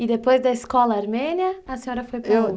E depois da escola armênia, a senhora foi para onde? Eu...